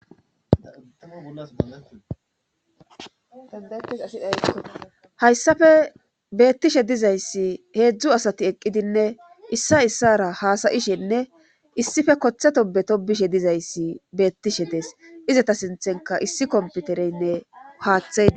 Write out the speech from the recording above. Aihayssafe beettishe dizayssi heedzdzu asati eqqidinne issa issara haasayishenne issife kotheto beto bishe dizayssi beettishe dees izata sinthenka issi komputereynne haaththaai